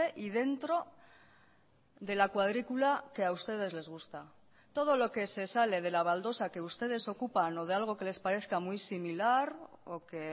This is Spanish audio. y dentro de la cuadrícula que a ustedes les gusta todo lo que se sale de la baldosa que ustedes ocupan o de algo que les parezca muy similar o que